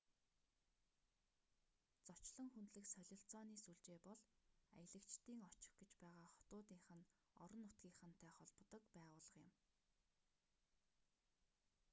зочлон хүндлэх солилцооны сүлжээ бол аялагчдын очих гэж байгаа хотуудынх нь орон нутгийнхантай холбодог байгууллага юм